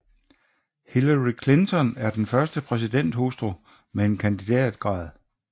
Hillary Clinton er den første præsidenthustru med en kandidatgrad